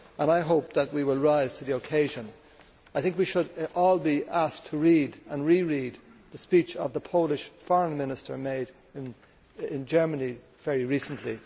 I hope that we will rise to the occasion. I think we should all be asked to read and re read the speech that the Polish Foreign Minister made in Germany very recently.